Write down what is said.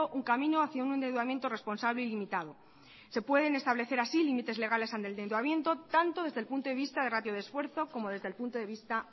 un camino hacia un endeudamiento responsable y limitado se pueden establecer así límites legales al endeudamiento tanto desde el punto de vista de ratio de esfuerzo como desde el punto de vista